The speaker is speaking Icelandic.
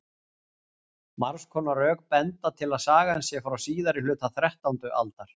margs konar rök benda til að sagan sé frá síðari hluta þrettándu aldar